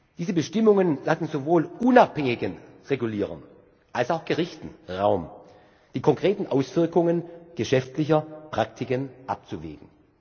Diese Bestimmungen lassen sowohl unabhängigen Regulierern als auch Gerichten Raum, die konkreten Auswirkungen geschäftlicher Praktiken abzuwägen.